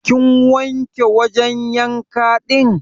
Kin wanke wajan yanka din?